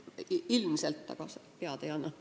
Ilmselt leiab, aga pead ma ei anna.